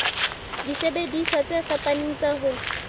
disebediswa tse fapaneng tsa ho